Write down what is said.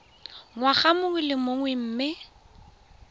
ngwaga mongwe le mongwe mme